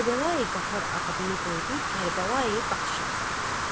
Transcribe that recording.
Kərbəlayı Qafar adını qoydu Kərbəlayı Baxşəli.